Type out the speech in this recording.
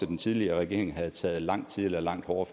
den tidligere regering havde taget fat langt tidligere og langt hårdere